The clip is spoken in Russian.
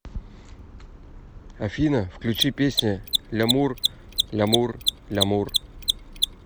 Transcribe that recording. афина включи песня лямур лямур лямур